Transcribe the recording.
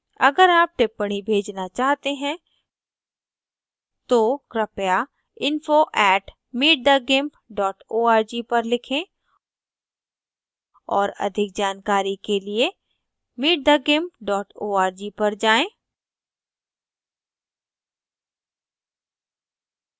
अगर आप टिप्पणी भेजना चाहते हैं तो कृपया info @meetthegimp org पर लिखें और अधिक जानकारी के लिए